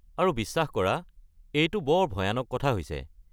আৰু বিশ্বাস কৰা, এইটো বৰ ভয়ানক কথা হৈছে।